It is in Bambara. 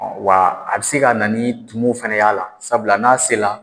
wa a bi se ka na ni tumun fana y'a la sabula n'a sera